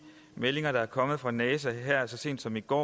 meldinger der kom fra nasa så sent som i går